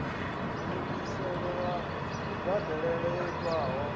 ndungiselo ya kubadelele yo itwaho